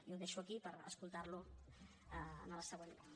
i ho deixo aquí per escoltarlo en el següent torn